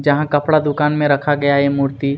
जहाँं कपड़ा दुकान में रखा गया है यह मूर्ति--